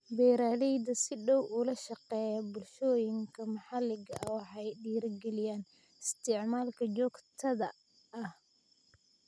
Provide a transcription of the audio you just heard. Beeralayda si dhow ula shaqeeya bulshooyinka maxalliga ah waxay dhiirigeliyaan isticmaalka joogtada ah.